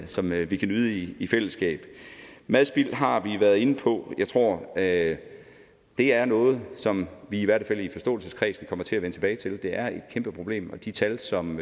som vi kan nyde i i fællesskab madspil har vi været inde på og jeg tror at det er noget som vi i hvert fald i forståelseskredsen kommer til at vende tilbage til det er et kæmpe problem og de tal som